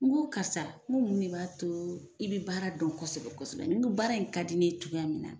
N'go karisa n go mun de b'a to i be baara dɔn kosɛbɛ kosɛbɛ n go baara in ka di ne ye togoya min na